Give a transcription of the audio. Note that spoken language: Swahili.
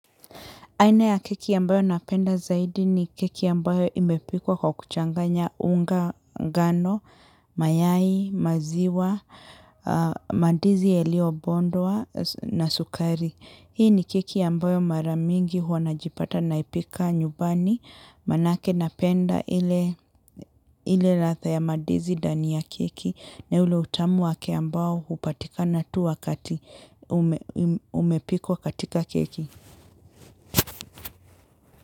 Aina ya keki ambayo napenda zaidi ni keki ambayo imepikwa kwa kuchanganya unga, ngano, mayai, maziwa, mandizi yaliyo bondwa na sukari. Hii ni keki ambayo mara mingi huwa najipata naipika nyumbani manake napenda ile latha ya mandizi ndani ya keki na ule utamu wake ambao hupatikana tu wakati umepikwa katika keki.